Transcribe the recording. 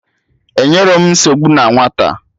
Enyerọ m nsogbu na nwata!